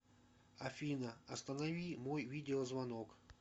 афина останови мой видеозвонок